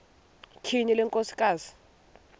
tyhini le nkosikazi